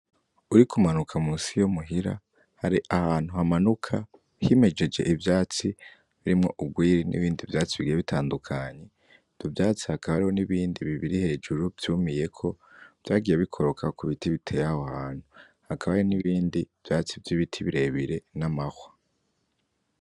Uriko umanuka munsi yo muhira hari ahantu hamanuka himejeje ivyatsi birimwo urwiri n'ibindi vyatsi bigiye bitandukanye. Ivyo vyatsi hakaba hariho n'ibindi bibiri hejuru vyumiyeko vyagiye bikoroka ku biti biteye aho hantu. Hakaba hariho n'ibindi vyatsi vy'ibiti birebire, n'amahwa.